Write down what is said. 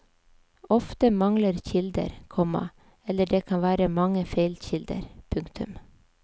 Ofte mangler kilder, komma eller det kan være mange feilkilder. punktum